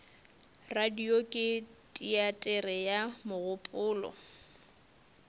radio ke teatere ya mogopolo